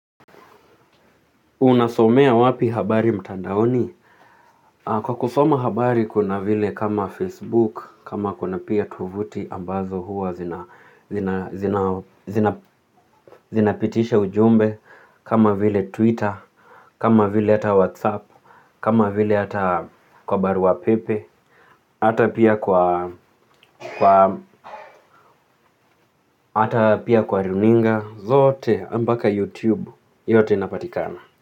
Unasomea wapi habari mtandaoni? Kwa kusoma habari kuna vile kama Facebook, kama kuna pia tovuti ambazo huwa zinapitishe ujumbe, kama vile Twitter, kama vile hata WhatsApp, kama vile hata kwa barua pepe, hata pia kwa, hata pia kwa runinga zote mpaka YouTube yote inapatikana.